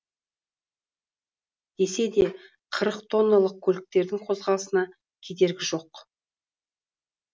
десе де қырық тонналық көліктердің қозғалысына кедергі жоқ